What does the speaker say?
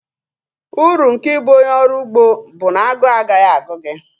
Uru nke ịbụ onye ọrụ ugbo bụ na agụụ agaghị agụ gị